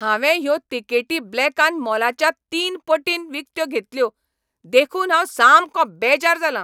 हांवें ह्यो तिकेटी ब्लॅकान मोलाच्या तीन पटीन विकत्यो घेतल्यो देखून हांव सामको बेजार जालां.